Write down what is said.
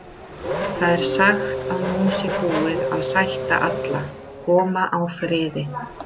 Það er sagt að nú sé búið að sætta alla, koma á friði.